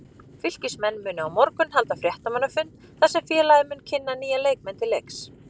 Fylkismenn munu á morgun halda fréttamannafund þar sem félagið mun kynna nýja leikmenn til leiks.